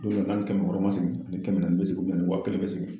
Don dɔ n'a ni kɛmɛ wɔɔrɔ ma se ani kɛmɛ naani be segin a ni waa kelen be segin.